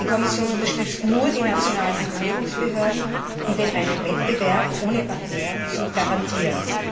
Die Kommission unterstützt nur die nationalen Regulierungsbehörden, um den reinen Wettbewerb ohne Barrieren zu garantieren.